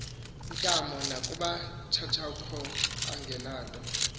ntamo nakumakhatshakhowa angenanto